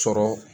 Sɔrɔ